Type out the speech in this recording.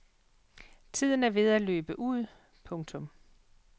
Tiden er ved at løbe ud. punktum